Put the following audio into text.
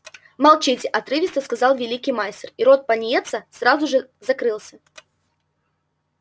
молчите отрывисто сказал великий мастер и рот пониетса сразу же закрылся